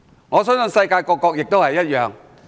我相信世界各國也如是。